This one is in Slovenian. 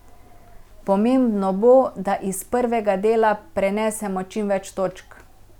Pomembno bo, da iz prvega dela prenesemo čim več točk.